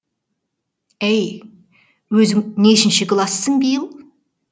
әй өзің нешінші классың биыл